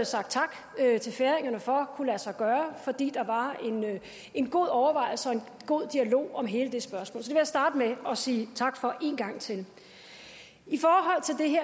sagt tak til færingerne for kunne lade sig gøre fordi der var en god overvejelse og en god dialog om hele det spørgsmål så jeg starte med at sige tak for en gang til